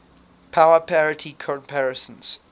power parity comparisons